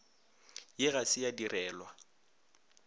ye ga se ya direlwa